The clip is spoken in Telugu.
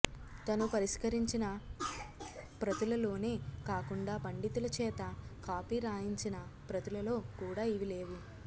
తను పరిష్కరించిన ప్రతులలోనే కాకుండా పండితుల చేత కాపీ రాయించిన ప్రతులలో కూడా ఇవి లేవు